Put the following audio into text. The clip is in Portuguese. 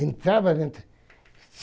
Entrava dentro.